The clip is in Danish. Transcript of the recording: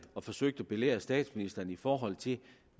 og forsøgte at belære statsministeren i forhold til